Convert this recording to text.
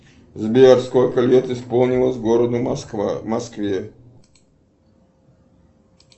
сбер сколько лет исполнилось городу москва москве